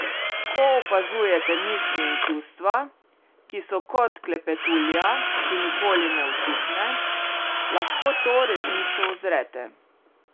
Ko opazujete misli in čustva, ki so kot klepetulja, ki nikoli ne utihne, lahko to resnico uzrete.